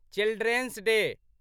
children's day